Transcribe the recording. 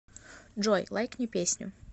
джой лайкни песню